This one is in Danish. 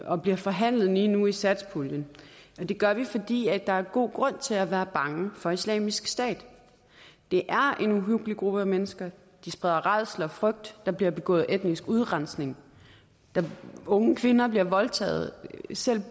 og bliver forhandlet lige nu i satspuljen og det gør vi fordi der er god grund til at være bange for islamisk stat det er en uhyggelig gruppe mennesker de spreder rædsel og frygt der bliver begået etnisk udrensning unge kvinder bliver voldtaget og selv